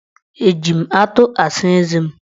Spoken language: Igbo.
Eji m atụ asa eze m?